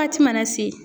Waati mana se